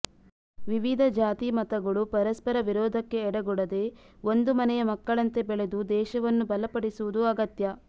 ವಿವಿಧ ಜಾತಿಮತಗಳು ಪರಸ್ಪರ ವಿರೋಧಕ್ಕೆ ಎಡೆಗೊಡದೆ ಒಂದು ಮನೆಯ ಮಕ್ಕಳಂತೆ ಬೆಳೆದು ದೇಶವನ್ನು ಬಲಪಡಿಸುವುದು ಅಗತ್ಯ